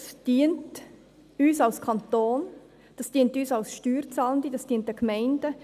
Das dient uns als Kanton, das dient uns als Steuerzahlenden, das dient den Gemeinden.